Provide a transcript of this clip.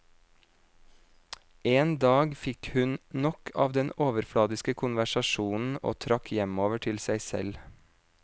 En dag fikk hun nok av den overfladiske konversasjonen og trakk hjemover til seg selv.